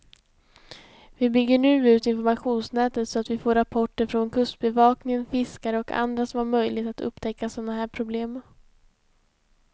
Vi bygger nu ut informationsnätet så att vi får rapporter från kustbevakningen, fiskare och andra som har möjlighet att upptäcka såna här problem.